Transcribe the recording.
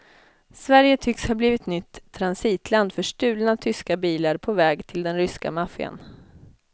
Sverige tycks ha blivit nytt transitland för stulna tyska bilar på väg till den ryska maffian.